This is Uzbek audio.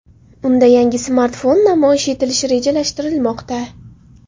Unda yangi smartfon namoyish etilishi rejalashtirilmoqda.